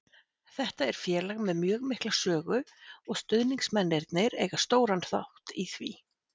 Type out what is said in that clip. Þetta er félag með mjög mikla sögu og stuðningsmennirnir eiga stóran þátt í því.